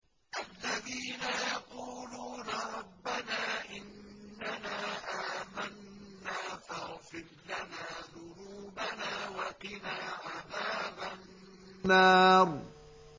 الَّذِينَ يَقُولُونَ رَبَّنَا إِنَّنَا آمَنَّا فَاغْفِرْ لَنَا ذُنُوبَنَا وَقِنَا عَذَابَ النَّارِ